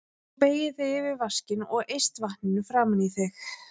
Þú beygir þig yfir vaskinn og eyst vatninu framan í þig.